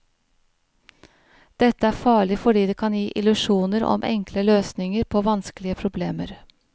Dette er farlig fordi det kan gi illusjoner om enkle løsninger på vanskelige problemer.